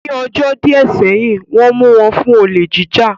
Ní ọjọ́ díẹ̀ sẹ́yìn, Wọ́n mu wọn fún olè jíjà